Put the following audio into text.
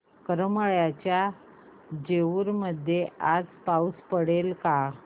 करमाळ्याच्या जेऊर मध्ये आज पाऊस पडेल का